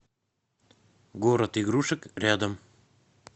город игрушек рядом